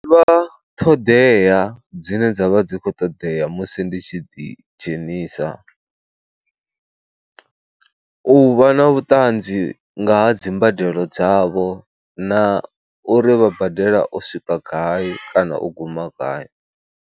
Ṱhoḓea dzine dza vha dzi khou ṱoḓea musi ndi tshi ḓidzhenisa, u vha na vhuṱanzi nga ha dzimbadelo dzavho na uri vha badela u swika gai kana u guma gai.